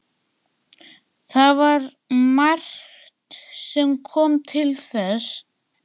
Það var margt sem kom til þess.